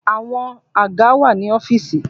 Àwọn àga wà ní ọ́fìsì.